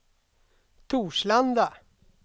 Torslanda